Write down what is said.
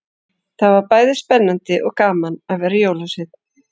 Það var bæði spennandi og gaman að vera jólasveinn.